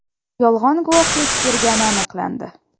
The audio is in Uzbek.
yolg‘on guvohlik bergani aniqlandi.